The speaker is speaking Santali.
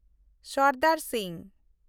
ᱥᱚᱨᱫᱟᱨ ᱥᱤᱝ